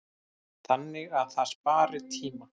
Þannig að það spari tíma.